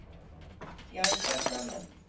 Já, hvern annan?